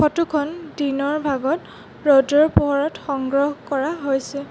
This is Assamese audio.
ফটোখন দিনৰ ভাগত ৰ'দৰ পোহৰত সংগ্ৰহ কৰা হৈছে।